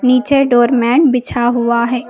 नीचे door mat बिछा हुआ है।